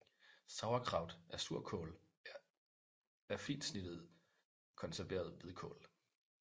Sauerkraut eller surkål er fint snittet konserveret hvidkål